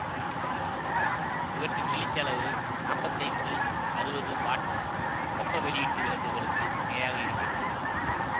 இவற்றின் வெளிச்ச அளவு நாப்பத்தி ஐந்து அறுபது வாட் வெப்ப வெளியீட்டு விளக்குகளுக்கு இணையாக இருக்கிறது